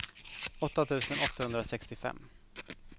åtta tusen åttahundrasextiofem